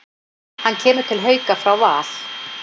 Hann kemur til Hauka frá Val.